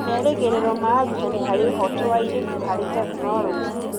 Ta merĩgĩrĩro ma arutani harĩ ũhoto wa airĩtu harĩ tekinoronjĩ.